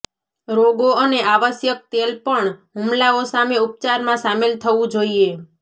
રોગો અને આવશ્યક તેલ પણ હુમલાઓ સામે ઉપચારમાં શામેલ થવું જોઈએ